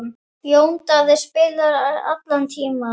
Jón Daði spilaði allan tímann.